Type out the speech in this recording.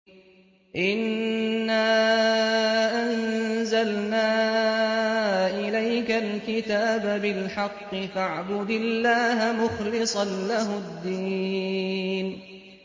إِنَّا أَنزَلْنَا إِلَيْكَ الْكِتَابَ بِالْحَقِّ فَاعْبُدِ اللَّهَ مُخْلِصًا لَّهُ الدِّينَ